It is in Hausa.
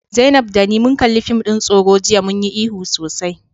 Zainab da ni mun kalli fim din tsoro jiya, mun yi ihu sosai.